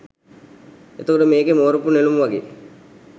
එතකොට මේකේ මෝරපු නෙළුම් වගේ